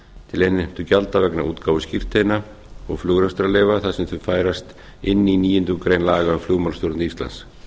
til innheimtugjalda vegna útgáfu skírteina og flugrekstrarleyfa þar sem þau færast inn í níundu grein laga um flugmálastjórn íslands